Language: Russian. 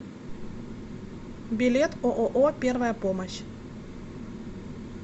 билет ооо первая помощь